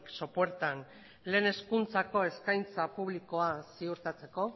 sopuertan lehen hezkuntzako eskaintza publikoa ziurtatzeko